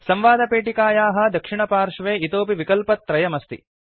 संवादपेटिकायाः दक्षिणपार्श्वे इतोऽपि विकल्पत्रयमस्ति